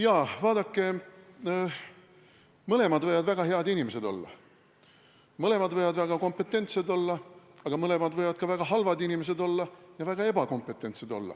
Jaa, vaadake, mõlemad võivad olla väga head inimesed, mõlemad võivad olla väga kompetentsed, aga mõlemad võivad olla ka väga halvad inimesed ja väga ebakompetentsed.